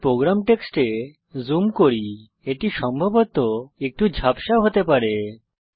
আমি প্রোগ্রাম টেক্সটে জুম করি এটি সম্ভবত একটু ঝাপসা হতে পারে